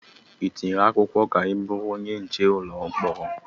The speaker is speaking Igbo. Ị tinyere akwụkwọ ka ị bụrụ onye nche ụlọ mkpọrọ?